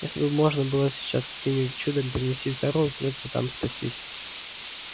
если бы можно было сейчас каким-нибудь чудом перенестись в тару придётся там спастись